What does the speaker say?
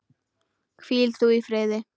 Hvíl þú í friði.